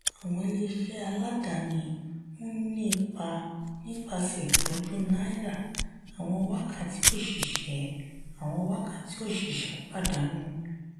àwọn ilé iṣẹ́ aládàání ń ni ipa nípasẹ̀ ìpọ́njú náírà àwọn wákàtí òṣìṣẹ́ àwọn wákàtí òṣìṣẹ́ pàdánù.